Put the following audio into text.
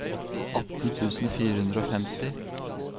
atten tusen fire hundre og femti